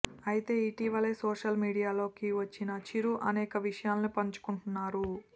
అయితే ఇటీవలే సోషల్ మీడియాలో కి వచ్చిన చిరు అనేక విషయాలను పంచుకుంటున్నారు